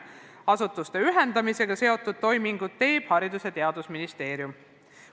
Asutuste ühendamisega seotud toimingud teeb Haridus- ja Teadusministeerium.